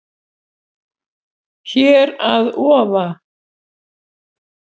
Hér að ofa